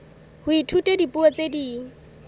ho ithuta dipuo tse ding